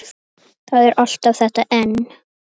Það er alltaf þetta en.